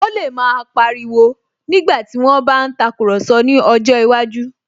Ó lè máa pa ariwo nígbàtí wón bá ń tàkurọ̀sọ ní ọjọ́ iwájú